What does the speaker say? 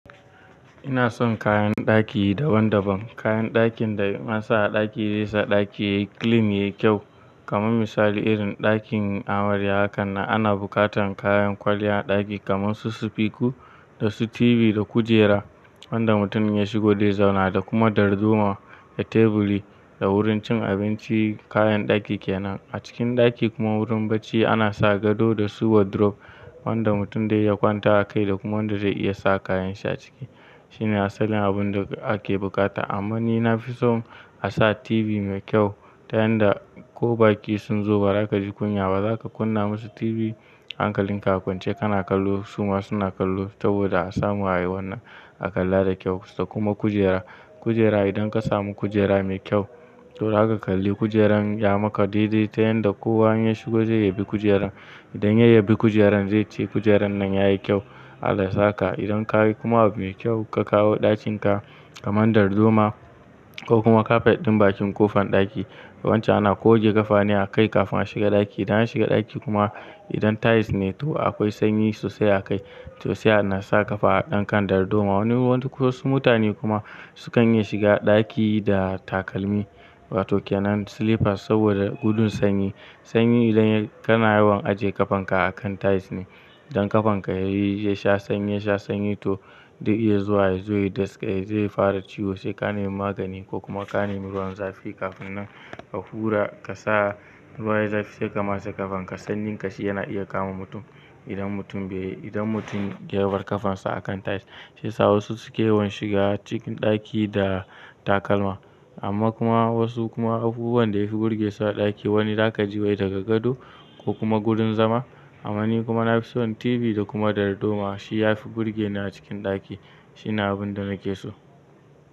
Ina son kayan ɗaki daban-daban. Kayan ɗakin da in ansa a ɗaki zai sa ɗaki yayi clean, yayi kyau. Kaman misali, irin ɗakin amarya haka nan, ana buƙatan kayan kwalliya a ɗaki kaman su su fiku da su tv da kujera wanda mutum ya shigo zai zauna, da kuma darduma da teburi da wurin cin abinci, kayan ɗaki ke nan. A cikin ɗaki kuma wurin bacci ana sa gado da su wardrobe, wanda mutum dai iya kwantawa akai da kuma wanda zai iya sa kayan shi a ciki. Shine asalin abun da ake buƙata. Amma ni na fi son a sa tv mai kyau, ta yanda ko ba ƙi sun zo ba raka ji kunya ba. Za ka kunna musu tv hankalin ka a kwance, kana kallo su ma suna kallo saboda a samu ai wannan a kalla da kyau. Da kuma kujera. Kujera idan ka samu kujera mai kyau, to zaka kalli kujeran ya maka daidai ta yanda kowa in ya shigo zai yabi kujeran. Idan ya yabi kujeran zai ce "kujeran nan yayi kyau", Allah sa ka. Idan ka yi kuma abu mai kyau ka kawo ɗakin ka kaman darduma ko kuma kafet ɗin bakin kofan ɗaki, wancan ana goge ƙafa ne a kai kafin a shiga ɗaki. Idan an shiga ɗaki kuma idan tiles ne to akwai sanyi sosai a kai. Sosai ana sa ƙafa a dankan darduma. Wani-wasu mutane kuma su kan iya shiga ɗaki da takalmi, wato ke nan slippers saboda gudun sanyi. Sanyi idan ya-kana yawan aje ƙafan ka a kan tiles ne. Don ƙafan ka yayi, ya sha sanyi, ya sha sanyi to zai iya zuwa yazo ya daskai, zai fara ciwo. Sai ka nemi magani ko kuma ka nemi ruwan zafi kafin nan ka hura ka sa ruwan zafi sai ka matsa ƙafan ka. Sanyin ƙashi yana iya kama mutum idan mutum bai, idan mutum ya bar ƙafan sa a kan tiles. Sai sa wasu suke yawan shiga cikin ɗaki da takalma. Amma kuma wasu kuma abubuwan da yafi burge su a ɗaki wani za ka ji wai daga gado ko kuma gurin zama, amma ni kuma na fi son tv da kuma darduma. Shi ya fi burge ni a cikin ɗaki. Shine abun da nake so.